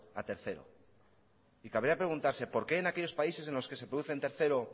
a tercero y cabría que preguntarse por qué en aquellos países en los que se produce en tercero